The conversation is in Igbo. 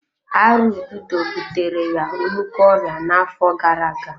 Arụ ududo butere ya nnukwu ọrịa n'afọ gara-aga.